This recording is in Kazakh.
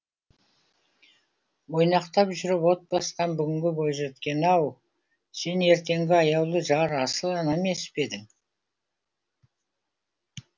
ойнақтап жүріп от басқан бүгінгі бойжеткен ау сен ертеңгі аяулы жар асыл ана емес пе едің